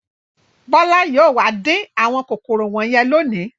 Bọ́lá yóò wá dín àwọn kòkòrò wọ̀nyẹn lónìí.